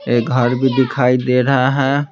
ये घर भी दिखाई दे रहा है।